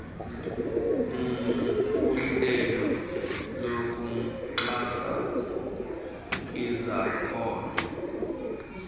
uhlelo lokuxhasa izakhono